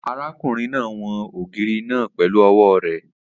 Arákùnrin náà won ògiri náà pẹ̀lú ọwọ́ rẹ